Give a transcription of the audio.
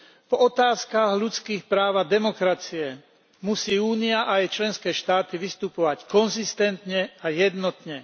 V otázkach ľudských práv a demokracie musí Únia a jej členské štáty vystupovať konzistentne a jednotne.